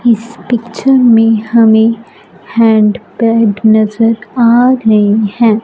इस पिक्चर मे हमे हैंडपैड नज़र आ रहे है।